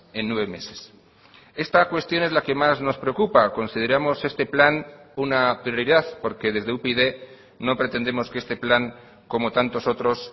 en nueve meses esta cuestión es la que más nos preocupa consideramos este plan una prioridad porque desde upyd no pretendemos que este plan como tantos otros